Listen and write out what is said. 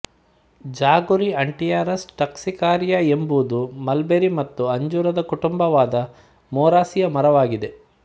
ಜಾಗುರಿ Antiaris toxicaria ಎಂಬುದು mulberry ಮತ್ತು ಅಂಜೂರದ ಕುಟುಂಬವಾದ ಮೊರಾಸಿಯ ಮರವಾಗಿದೆ